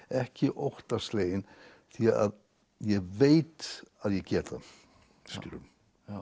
ekki óttasleginn því að ég veit að ég get það skilurðu